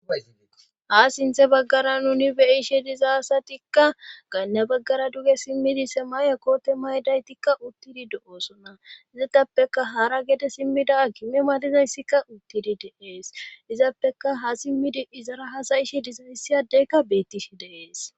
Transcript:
Ha sinthe baggara nuni beyishe dizaasatikka ganna baggara duge simmidi sema7e kote maydaytikka uttidi do7oosona izatappeka hara gede simmida akime madizayssikka uttidi deees izappeka ha simmidi izara hasayishe dizayssiyadeykka bettishi deees.